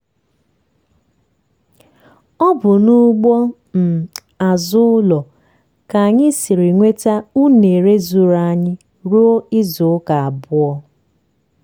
ọ bụ n'ugbo um azụ ụlọ ka anyị siri nweta únere zuuru anyị ruo izu ụka abụọ.